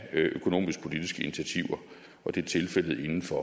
af økonomisk politiske initiativer og det er tilfældet inden for